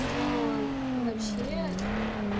но вообще